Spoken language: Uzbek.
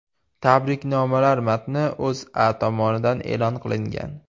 Tabriknomalar matni O‘zA tomonidan e’lon qilingan .